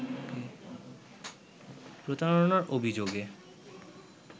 প্রতারণার অভিযোগে